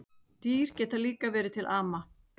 Dýr geta líka verið til ama